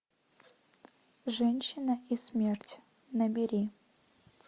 женщина и смерть набери